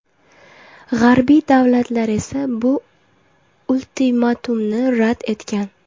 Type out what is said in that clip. G‘arbiy davlatlar esa bu ultimatumni rad etgan.